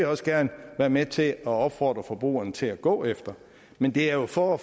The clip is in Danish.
også gerne være med til at opfordre forbrugerne til at gå efter men det er jo for at